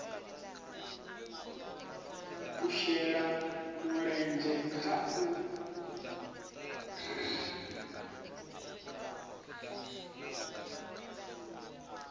a shele mulenzhe kha u